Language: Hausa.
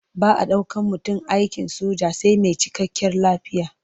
Ba a ɗaukan mutum aikin soja sai mai cikakkiyar lafiya.